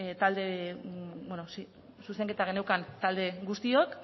talde bueno zuzenketa geneukan talde guztiok